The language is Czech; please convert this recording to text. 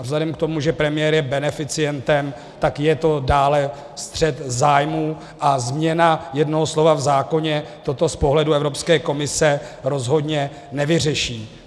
A vzhledem k tomu, že premiér je beneficientem, tak je to dále střet zájmů a změna jednoho slova v zákoně toto z pohledu Evropské komise rozhodně nevyřeší.